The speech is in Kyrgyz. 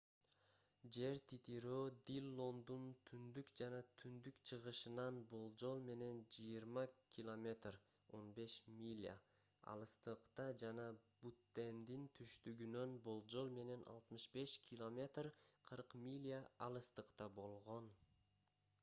жер титирөө диллондун түндүк жана түндүк-чыгышынан болжол менен 20 км. 15 миля алыстыкта жана буттендин түштүгүнөн болжол менен 65 км. 40 миля алыстыкта болгон